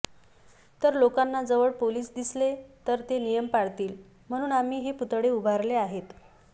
तर लोकांना जवळ पोलीस दिसले तर ते नियम पाळतील म्हणून आम्ही हे पुतळे उभारले आहेत